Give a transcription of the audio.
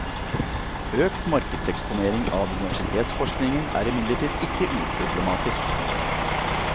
Økt markedseksponering av universitetsforskningen er imidlertid ikke uproblematisk.